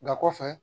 Nka kɔfɛ